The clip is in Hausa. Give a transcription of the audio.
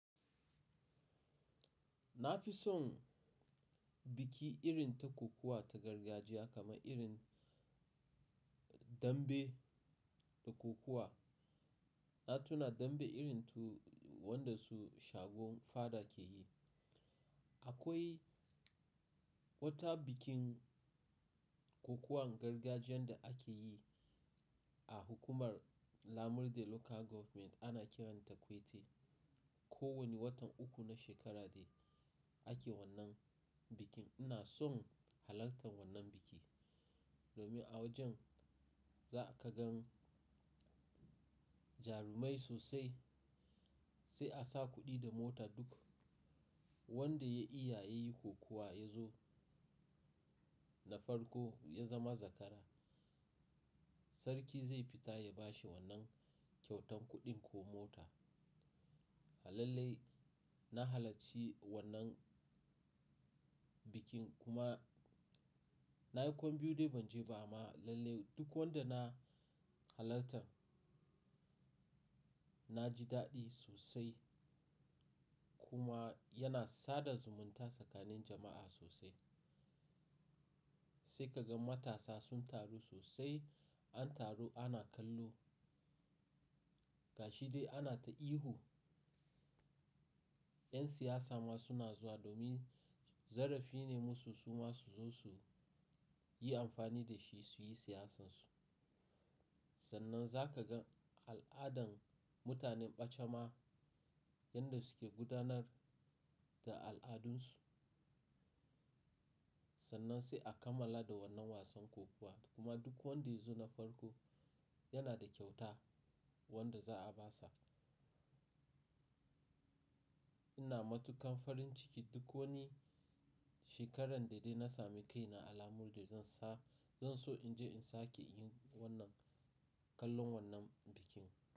Na fi son biki irin ta kokowa ta gargajiya kamar irin dambe da kokowa. Na tuna dambe irin tu wanda su shagon fada ke yi. Akwai wata bikin kokowan gargajiyan da ake yi a hukumar Lamurde Local Government, ana kiranta Kwete. Ko wani watan uku na shekara de ake wannan bikin. Ina son halartan wannan biki, domin a wajen za ka gan jarumai sosai, sai a sa kuɗi da mota duk wanda ya iya yayi kokuwa ya zo na farko ya zama zakara. Sarki zai fita ya bashi wannan kyautan kuɗin ko mota. Alalle na halarci wannan bikin kuma na yi kwan biyu dai ban je ba amma lalle duk wanda na halartan na ji daɗi sosai kuma yana sada zumunta tsakanin jama'a sosai. Sai ka gan matasa sun taru sosai, an taru ana kallo, gashi dai ana ta ihu. 'Yan siyasa ma suna zuwa domin zarafi ne musu su ma su zo su yi amfani da shi su yi siyasan su. Sannan za ka gan al'adan mutanen ɓacama yanda suke gudanar da al'adunsu. Sannan sai a kammala da wannan wasan kokuwa kuma duk wanda ya zo na farko yana da kyauta wanda za a ba sa. Ina matuƙan farin ciki duk wani shekaran da dai na sami kaina a Lamurde zan sa-- zan so in je in sake yin wannan kallon wannan bikin.